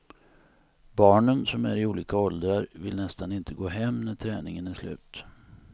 Barnen som är i olika åldrar vill nästan inte gå hem när träningen är slut.